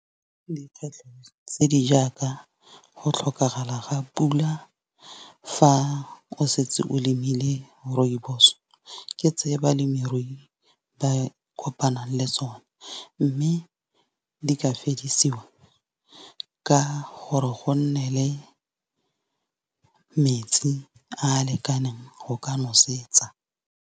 Tse di jaaka go tlhokagala ga pula fa o setse o lemile rooibos. Ke tse balemirui ba kopanang le tsone, mme di ka fedisiwa ka gore go nne le metsi a lekaneng go ka nosetsa.